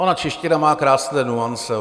Ona čeština má krásné nuance.